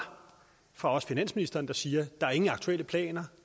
fra finansministeren der siger at der ingen aktuelle planer